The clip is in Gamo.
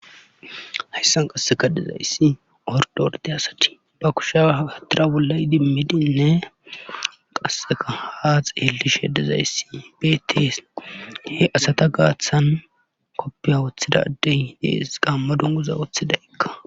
hayssan qassika dizayssi ordde ordde asay ba kushiya tira bolla idimmidinne qassika haa xeellishe dizayssi beettes;he asata gaathan kopiya wothida adey de7es; qaamma dunguza wotidaykka.